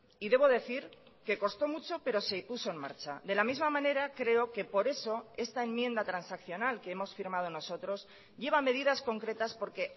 y debo decir que costó mucho pero se puso en marcha de la misma manera creo que por eso esta enmienda transaccional que hemos firmado nosotros lleva medidas concretas porque